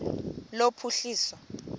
lophuhliso